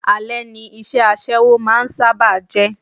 Ale ni iṣẹ́ aṣẹ́wó máa ń sábà jẹ́.